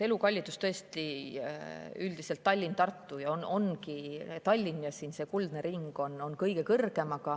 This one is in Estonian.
Elukallidus on tõesti üldiselt Tallinnas ja Tartus ning selles Tallinna kuldses ringis kõige kõrgem.